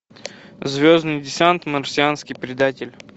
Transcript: звездный десант марсианский предатель